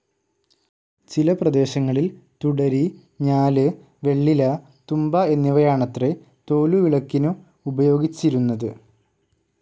ചില പ്രദേശങ്ങളിൽ തുടരി, ഞാല്, വെള്ളില, തുമ്പ എന്നിവയാണത്രെ തോലുവിളക്കിനു ഉപയോഗിച്ചിരുന്നത്.